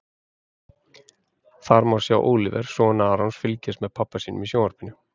Þar má sjá Óliver, son Arons, fylgjast með pabba sínum í sjónvarpinu.